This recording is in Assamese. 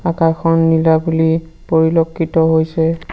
আকাশখন নীলা বুলি পৰিলক্ষিত হৈছে।